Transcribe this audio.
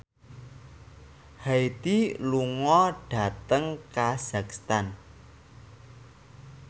Hyde lunga dhateng kazakhstan